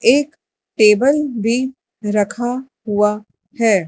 एक टेबल भी रखा हुआ है।